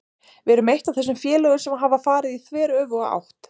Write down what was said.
Við erum eitt af þessum félögum sem hafa farið í þveröfuga átt.